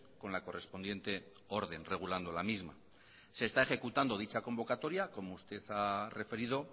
con la correspondiente orden regulando la misma se está ejecutando dicha convocatoria omo usted ha referido